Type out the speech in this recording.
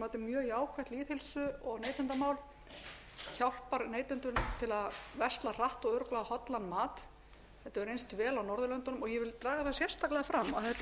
mjög jákvætt lýðheilsu og neytendamál hjálpar neytendum til að versla hratt og örugglega hollan mat þetta hefur reynt vel á norðurlöndunum og ég vil draga það sérstaklega fram að